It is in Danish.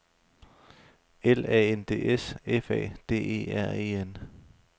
L A N D S F A D E R E N